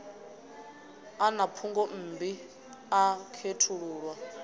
a na phungommbi a khethululwa